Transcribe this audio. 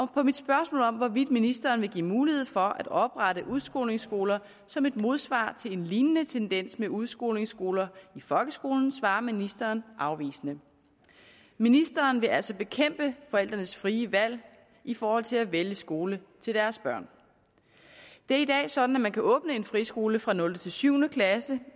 på mit spørgsmål om hvorvidt ministeren vil give mulighed for at oprette udskolingsskoler som et modsvar til en lignende tendens med udskolingsskoler i folkeskolen svarer ministeren afvisende ministeren vil altså bekæmpe forældrenes frie valg i forhold til at vælge skole til deres børn det er i dag sådan at man kan åbne en friskole for nulte syv klasse